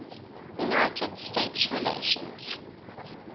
united states relations